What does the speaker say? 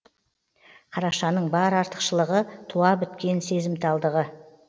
қарашаның бар артықшылығы туа біткен сезімталдығы